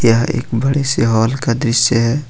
यह एक बड़े हाल का दृश्य है।